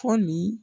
Fɔ nin